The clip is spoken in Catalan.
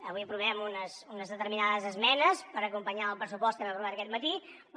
avui aprovem unes determinades esmenes per acompanyar el pressupost que hem aprovat aquest matí però